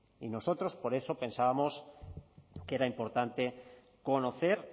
y nosotros por eso pensábamos que era importante conocer